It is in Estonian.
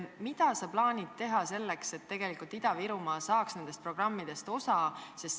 Mida sa plaanid teha selleks, et Ida-Virumaa saaks nendest abiprogrammidest osa?